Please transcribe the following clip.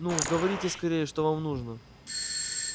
ну говорите скорее что вам нужно